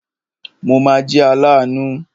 Mo ma jẹ́ aláàánú.